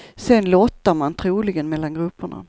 Sen lottar man troligen mellan grupperna.